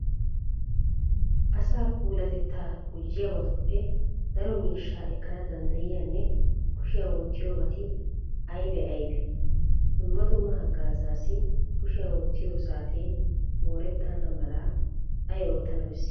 Asaa puulatettaa gujjiyabatuppe daro miishshaa ekkana danddayiyanne kushiyan wottiyobati aybee aybee? Dumma dumma haggaazaassi kushiyan wottiyo saatee moorettanna mala ay oottana bessii?